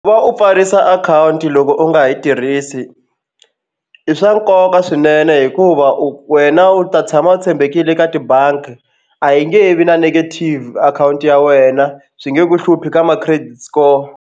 Ku va u pfarisa akhawunti loko u nga ha yi tirhisi i swa nkoka swinene hikuva u wena u ta tshama u tshembekile ka tibangi a yi nge he vi na negative akhawunti ya wena swi nge ku hluphi ka ma-credit score.